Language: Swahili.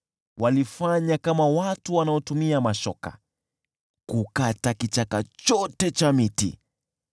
Walifanya kama watu wanaotumia mashoka kukata kichaka cha miti.